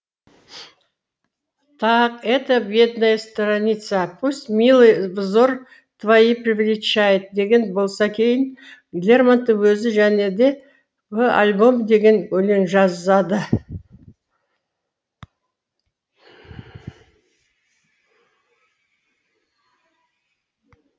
так эта бедная страницапусть милый взор твой привлечет деген болса кейін лермонтов өзі және де в альбом деген өлең жазады